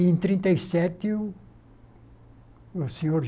E em trinta e sete, o o senhor